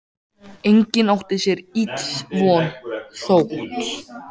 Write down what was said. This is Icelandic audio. Enginn átti sér ills von, þótt